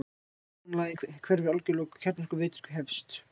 Ósonlagið hverfur algjörlega og kjarnorkuvetur hefst.